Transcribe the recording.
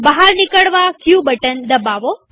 બહાર નિકળવા ક બટન દબાવો